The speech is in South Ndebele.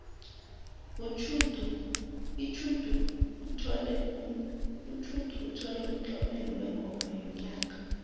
utjhudu uthole umtlomelo wengoma yonyaka